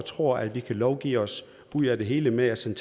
tror at vi kan lovgive os ud af det hele ved at sende